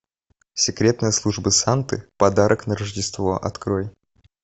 секретная служба санты подарок на рождество открой